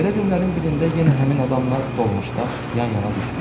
Belə günlərin birində yenə həmin adamla dolmuşda yan-yana düşdük.